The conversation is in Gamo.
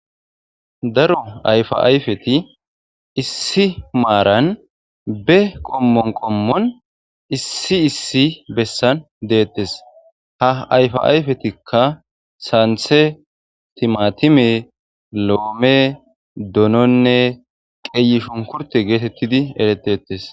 Daro ayfa ayfeti issi marani be qomon qomoni issi issi besani detesi. Ha ayfa ayfetika santhe , timatime , loome dononne qeyishinkurte getetidi eretetesi.